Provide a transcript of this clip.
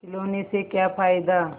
खिलौने से क्या फ़ायदा